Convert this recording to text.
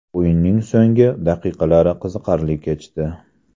o‘yinning so‘nggi daqiqalari qiziqarli kechdi.